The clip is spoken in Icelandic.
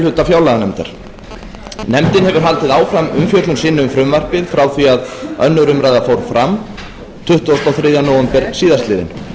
hluta fjárlaganefndar nefndin hefur haldið áfram umfjöllun sinni um frumvarpið frá því að önnur umræða fór fram tuttugasta og þriðja nóvember síðastliðinn